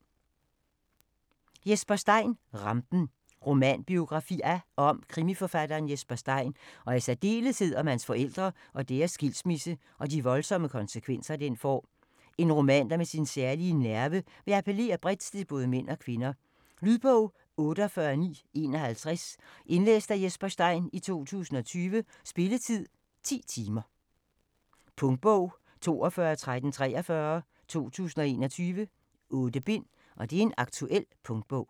Stein, Jesper: Rampen Romanbiografi af og om krimiforfatteren Jesper Stein, og i særdeleshed om hans forældre og deres skilsmisse og de voldsomme konsekvenser, den får. En roman, der med sin ærlige nerve vil appellere bredt til både mænd og kvinder. Lydbog 48951 Indlæst af Jesper Stein, 2020. Spilletid: 10 timer, 0 minutter. Punktbog 421343 2021. 8 bind. Aktuel punktbog